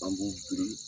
An b'u biri